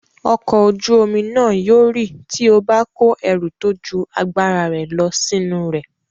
Ọkọ̀ ojú-omi náà yóò rì tí ó bá kó ẹrù tó ju agbára rẹ̀ lọ sínú rẹ̀.